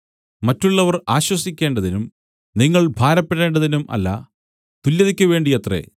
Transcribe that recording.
മറ്റുള്ളവർ ആശ്വസിക്കേണ്ടതിനും നിങ്ങൾ ഭാരപ്പെടേണ്ടതിനും അല്ല തുല്യതക്കു വേണ്ടിയത്രേ